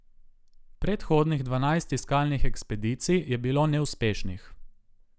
Predhodnih dvanajst iskalnih ekspedicij je bilo neuspešnih.